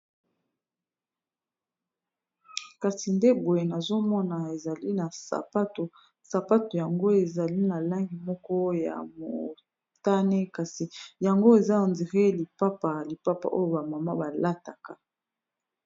kasi ndeboye nazomona ezali na satosapato yango ezali na langi moko ya motane kasi yango eza endire lipapa lipapa oyo bamama balataka